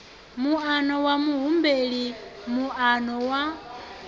muano wa muhumbeli moano wa